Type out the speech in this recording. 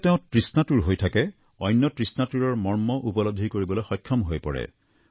যেতিয়া তেওঁ তৃষ্ণাতুৰ হৈ থাকে অন্য তৃষ্ণাতুৰ মৰ্ম উপলব্ধি কৰিবলৈ সক্ষম হৈ পৰে